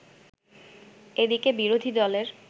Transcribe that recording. এদিকে বিরোধী দলের